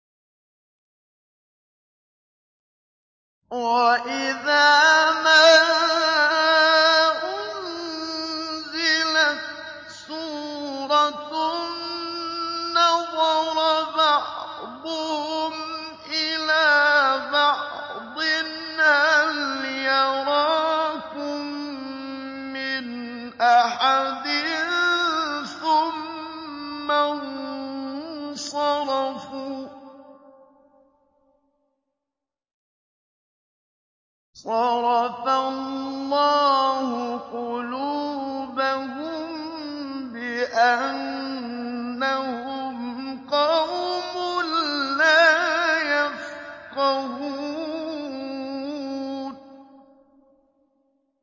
وَإِذَا مَا أُنزِلَتْ سُورَةٌ نَّظَرَ بَعْضُهُمْ إِلَىٰ بَعْضٍ هَلْ يَرَاكُم مِّنْ أَحَدٍ ثُمَّ انصَرَفُوا ۚ صَرَفَ اللَّهُ قُلُوبَهُم بِأَنَّهُمْ قَوْمٌ لَّا يَفْقَهُونَ